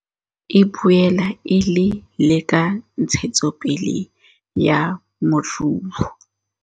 E boela e le le ka ntshetsopele ya moruo.